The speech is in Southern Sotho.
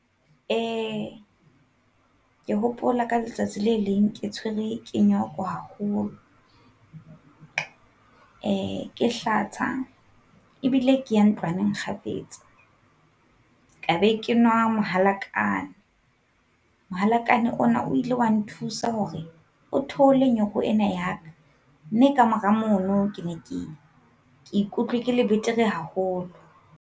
Eh ke hopola ka letsatsi le leng ke tshwerwe ke nyoko haholo, eh ke hlatsa ebile ke ya ntlwaneng kgafetsa. Ka be ke nwa mohalakane. Mohalakane ona o ile wa nthusa hore o theole nyoko ena ya ka, mme ka mora mono ke ne ke ikutlwe ke le betere haholo.